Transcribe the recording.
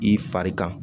I fari kan